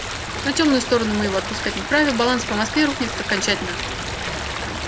на тёмную сторону мы его отпускать не вправе баланс по москве рухнет окончательно